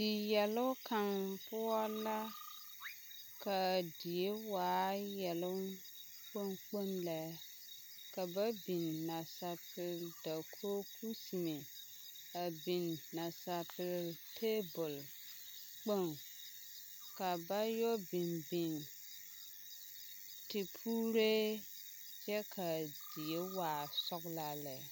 Diyɛloŋ kaŋ poɔ la k'a die waa yɛloŋ kpoŋ kpoŋ lɛ ka ba biŋ nasapel dakogi kusime, a biŋ nasapel teebol kpoŋ, ka ba yɔ biŋ biŋ tepuuree kyɛ k'a die waa sɔgelaa lɛ.